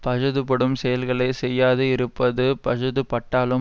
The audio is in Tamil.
பஜுதுபடும் செயல்களை செய்யாது இருப்பது பஜுதுபட்டாலும்